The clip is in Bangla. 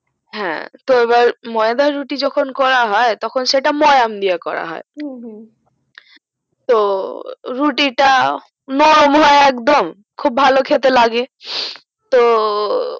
হু তো এবার ময়দা রুটি যখোন করা হয় তখন সেটা ময়াম দিয়া করা হু হু হয় তো রুটি টা নরম হয় একদম খুব ভালোখেতে লাগে